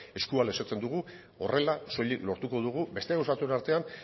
eskua luzatzen dugu horrela soilik lortuko dugu beste gauza batzuen artean